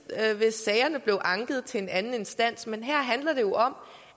sagerne blev anket til en anden instans men her handler det om